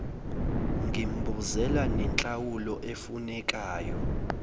ngimbuzela nenhlawulo efunekayo